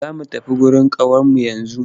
Za mu tafi wurin ƙawarmu yanzu.